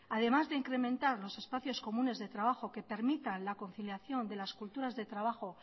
además de incrementar los espacios comunes de trabajo que permita la conciliación de las culturas de trabajo